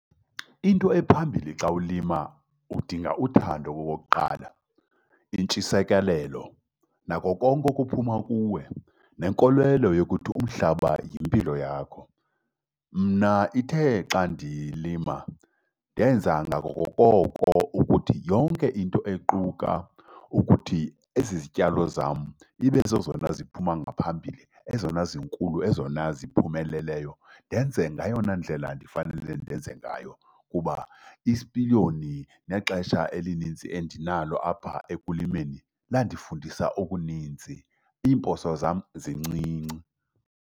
Into ephambilli xa ulima udinga uthando okokuqala, intshisekelo nako konke okuphuma kuwe, nenkolelo yokuthi umhlaba yimpilo yakho. Mna ithe xa ndilima ndenza ngako koko ukuthi yonke into equka ukuthi ezi zityalo zam ibe zezona ziphuma ngaphambili, ezona zinkulu, ezona ziphumeleleyo, ndenze ngayona ndlela ndifanele ndenze ngayo. Kuba isipiliyoni nexesha elinintsi endinalo apha ekulimeni landifundisa okuninzi, iimposo zam zincinci.